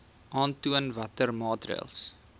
aantoon watter maatreëls